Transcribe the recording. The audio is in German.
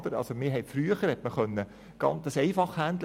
Wir haben das früher einfach handhaben können.